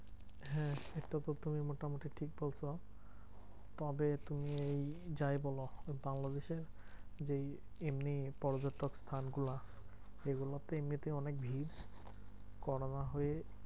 হ্যাঁ এক প্রথমে মোটামুটি ঠিক বলেছো। তবে তুমি এই যাই বলো বাংলাদেশের যেই এমনি পর্যটন স্থানগুলো এগুলোতে এমনিতেই অনেক ভিড়। corona হয়ে